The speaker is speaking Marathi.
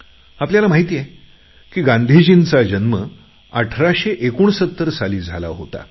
आपल्याला माहित आहे की गांधीजींचा जन्म 1969 साली झाला होता